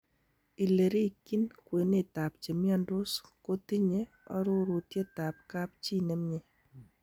Ilerikyin kwenetab chemiondos kotinye orurutietab kapchi nemi.